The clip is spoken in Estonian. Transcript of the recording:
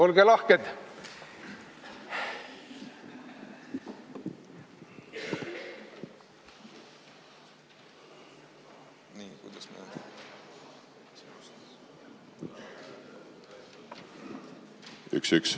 Olge lahked!